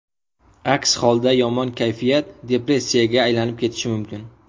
Aks holda, yomon kayfiyat depressiyaga aylanib ketishi mumkin.